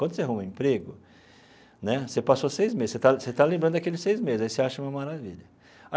Quando você arruma um emprego né, você passou seis meses, você está você está lembrando daqueles seis meses, aí você acha uma maravilha.